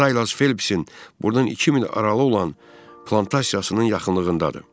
Silas Felpsin burdan iki mil aralı olan plantasiyasının yaxınlığındadır.